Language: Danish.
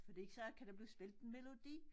Fordi så kan der blive spillet en melodi